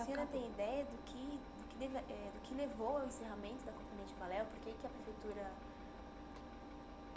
acabou A senhora tem ideia do que eh do que levou ao encerramento da Companhia de balé? por que que a prefeitura